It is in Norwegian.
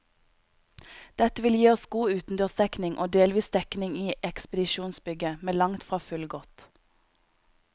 Dette vil gi oss god utendørsdekning og delvis dekning i ekspedisjonsbygget, men langt fra fullgodt.